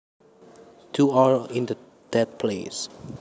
To or in that place